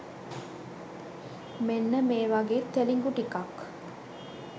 මෙන්න මේ වගේ තෙලිගු ටිකක්